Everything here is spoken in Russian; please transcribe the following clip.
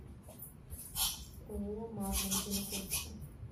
ооо марма где находится